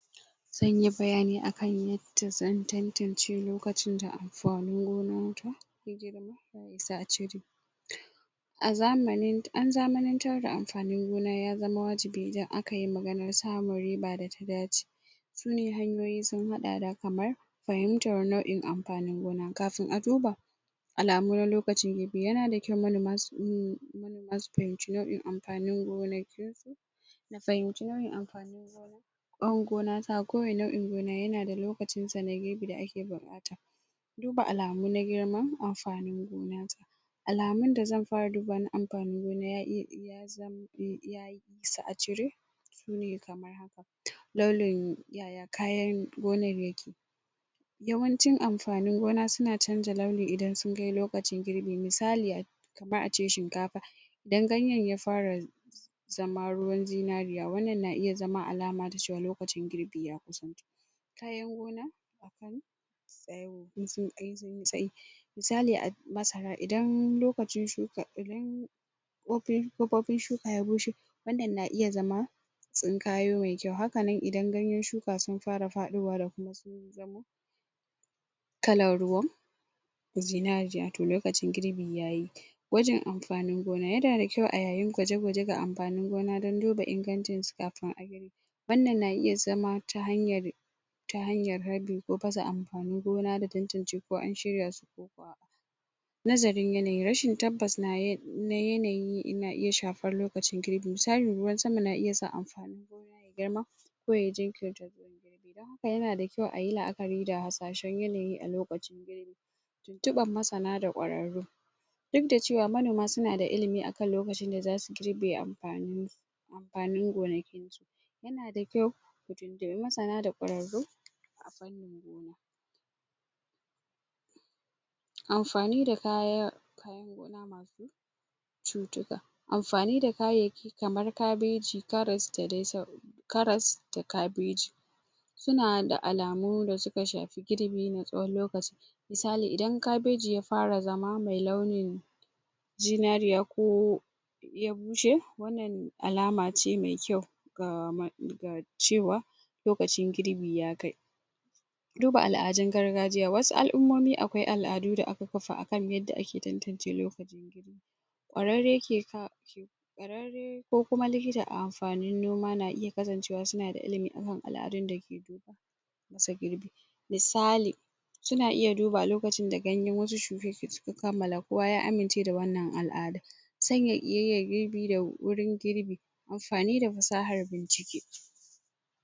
zanyi bayani akan yadda zan tantance lokacin gona ta ya girma ya isa a cire an zamani an zamanantar da amfanin gona ya zama wajibi idan akayi maganar samun riba da ta dace su ne hanyoyi sun haɗa da kamar fahimtar nau'in amfanin gona kafin a duba alamu na lokaci yana da kyau manoma su su fahimci nau'in amfanin gonaki na fahimci nau'in amfanin gona gona ta ko wani nau'in gona yana da lokacinsa na girbi da ake buƙata duba alamu na girma amfanin gona ta alamun da zan fara dubawa na amfanin gona ya isa a cire su ne kamar haka laulin ya ya kayar gonan yake yawanacin amfanin gona suna canza lauli idan sun kai lokacin girbi misali kamar ace shinkafa idan ganyen ya fara zama ruwan zinariya wannan na iya zama alama ta cewa lokacin girbi ya kusanto kayan gona? mun sai misali a masara idan lokacin shuka ya ƙopopin shuka ya bushe wannan na iya zama tsinkayo mai kyau haka nan idan ganyen shuka sun fara faɗowa da ko sun zama kalan ruwan zinariya to lokacin girbi yayi gwajin amfanin gona yana da kyau a yayin gwaje gwaje ga amfanin gona don duba ingancinsu kafin ayi wannan na iya zama ta hanyar ta hanyar rabe ko pasa amfanin gona da tantance ko an shirya su ko ko a'a nazarin yanayi rashin tabbas na na yanayi na iya shafar lokacin girbi misali ruwan sama na iya sa amfanin gona ya girma ko ya jinkirta girma don haka yana da kyau ayi la'akari da hasashen yanayi a lokacin girbi tuntuɓan masana da ƙwararru duk da cewa manoma suna da ilimi akan lokacin da zasu girbe amfanin amfanin gonaki yana da kyau su tuntuɓi masana da ƙwararru a harkan gona amfani da kaya kayan gona masu cutuka amfani da kayayyaki kamar kabeji, karas da dai sauran karas da kabeji suna da alamu da suka shafi girbi na tsawon lokaci misali idan kabeji ya fara zama mai launin zinariya ko ya bushe wannan alace mai kyau ga cewa lokacin girbi ya kai duba al'adun gargajiya wasu al'umomi akwai al'adu da aka kafa akan yanda ake tantance lokaci lokacin girbi ƙwararre ke ka ko kuma likita a amfanin noma na iya kasancewa suna da ilimi akan al'adun dake masa girbi misali suna iya duba a lokacin da ganyen wasu shuke shuke suke kammala kowa ya amince da wannan al'adan sanya ƙiyayyar girbi da wurin girbi amfani da fasahar bincike